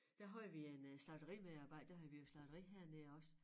Der havde vi en øh slagterimedarbejder der havde vi jo slagteri hernede også